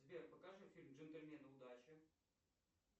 сбер покажи фильм джентельмены удачи